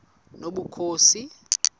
nobukhosi